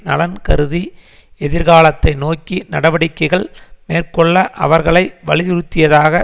நலன் கருதி எதிர்காலத்தை நோக்கி நடவடிக்கைகள் மேற்கொள்ள அவர்களை வலியுறுத்தியதாக